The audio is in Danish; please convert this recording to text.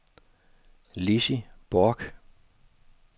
Lissi Bork